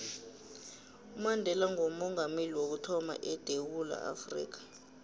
umandela ngoomongameli wokuthama edewula afrika